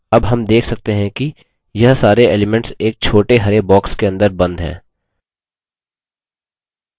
अब हम देख सकते हैं कि यह सारे elements एक छोटे हरे boxes के अंदर बंद है